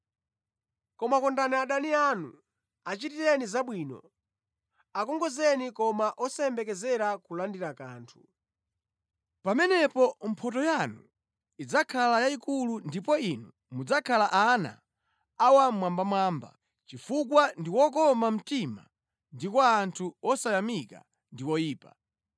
Koma kondani adani anu, achitireni zabwino, akongozeni koma osayembekezera kulandira kanthu. Pamenepo mphotho yanu idzakhala yayikulu ndipo inu mudzakhala ana a Wammwambamwamba, chifukwa ndi wokoma mtima kwa anthu osayamika ndi oyipa.